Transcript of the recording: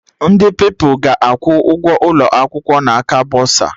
Ndị Pupilụ ga-akwụ ụgwọ ụlọ akwụkwọ n'aka bọsa